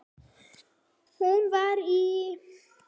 Hún var í